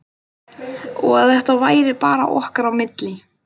Og að þetta væri bara okkar á milli.